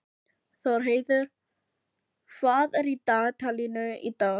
Þórheiður, hvað er í dagatalinu í dag?